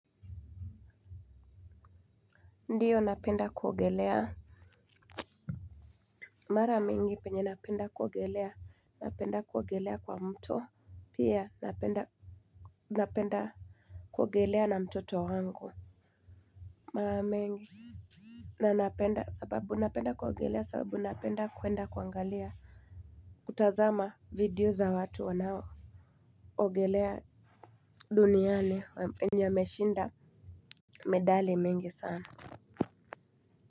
Ndiyo napenda kuogelea mara mingi penye napenda kuogelea napenda kuogelea kwa mto pia napenda napenda kuogelea na mtoto wangu mara mingi na napenda sababu napenda kuogelea sababu napenda kwenda kuangalia kutazama video za watu wanaoogelea duniani wenye wameshinda medali mingi sana.